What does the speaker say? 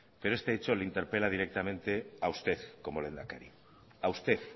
pero este hecho le interpela directamente a usted como lehendakari a usted